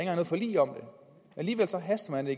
herre